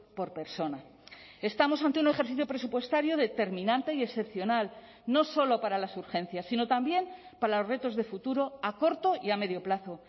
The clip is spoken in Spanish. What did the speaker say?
por persona estamos ante un ejercicio presupuestario determinante y excepcional no solo para las urgencias sino también para los retos de futuro a corto y a medio plazo